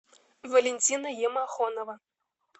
валентина емахонова